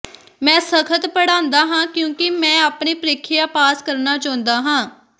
ਮੈਂ ਸਖਤ ਪੜ੍ਹਾਂਦਾ ਹਾਂ ਕਿਉਂਕਿ ਮੈਂ ਆਪਣੀ ਪ੍ਰੀਖਿਆ ਪਾਸ ਕਰਨਾ ਚਾਹੁੰਦਾ ਹਾਂ